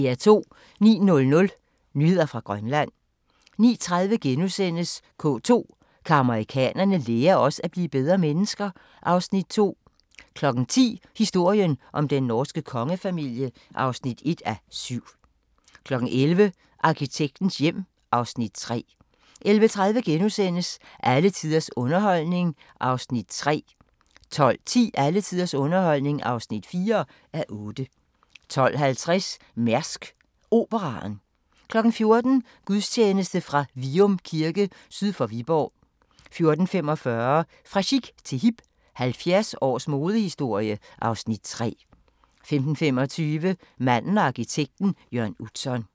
09:00: Nyheder fra Grønland 09:30: K2: Kan amerikanerne lære os at blive bedre mennesker? (Afs. 2)* 10:00: Historien om den norske kongefamilie (1:7) 11:00: Arkitektens hjem (Afs. 3) 11:30: Alle tiders underholdning (3:8)* 12:10: Alle tiders underholdning (4:8) 12:50: Mærsk Operaen 14:00: Gudstjeneste fra Vium Kirke syd for Viborg 14:45: Fra chic til hip – 70 års modehistorie (Afs. 3) 15:25: Manden og arkitekten – Jørn Utzon